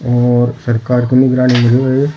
और सरकार के निगरानी में है ये।